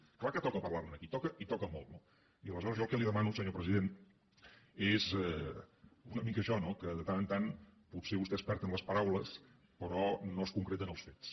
és clar que toca parlar ne aquí toca i hi toca molt no aleshores jo el que li demano senyor president és una mica això no que de tant en tant potser vostè es perd en les paraules però no es concreta en els fets